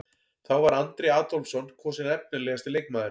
Þá var Andri Adolphsson kosinn efnilegasti leikmaðurinn.